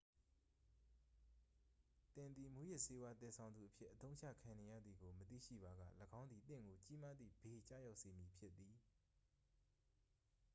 သင်သည် မူးယစ်ဆေးဝါးသယ်ဆောင်သူအဖြစ် အသုံးချခံနေရသည်ကို မသိရှိပါက ၎င်းသည် သင့်ကို ကြီးမားသည့်ဘေး ကျရောက်စေမည်ဖြစ်သည်